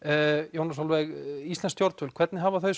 Jóna Sólveig íslensk stjórnvöld hvernig hafa þau